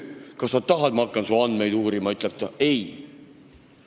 Kas sa tahad, et ma hakkan su andmeid uurima?", siis ütleb ta: "Ei!".